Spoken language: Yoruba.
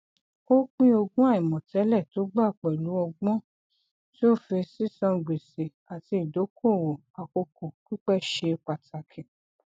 ó pín ogún àìmọtẹlẹ tó gba pẹlú ọgbọn tí ó fi sísan gbèsè àti ìdókòowó àkókò pípẹ ṣe pàtàkì